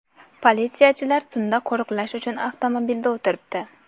Politsiyachilar tunda qo‘riqlash uchun avtomobilda o‘tiribdi.